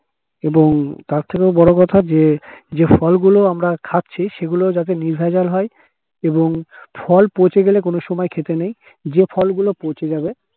এবং তার থেকেও বড় কথা যে যে ফলগুলো আমরা খাচ্ছি, সেগুলো যাতে নির্ভেজাল হয় এবং ফল পচে গেলে কোন সময়ে খেতে নেই। যে ফল গুলো পচে যাবে